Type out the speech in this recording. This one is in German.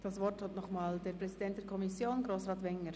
Das Wort hat nochmals der Präsident der Kommission, Grossrat Wenger.